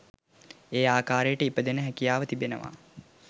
ඒ ආකාරයට ඉපදෙන්න හැකියාව තිබෙනවා.